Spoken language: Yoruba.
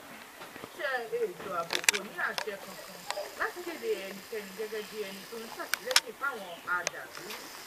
iléeṣẹ́ ètò ààbò kò ní àṣẹ kankan láti kéde ẹnikẹ́ni gẹ́gẹ́ bíi ẹni tó ń ṣàtìlẹ́yìn fáwọn adàlúrú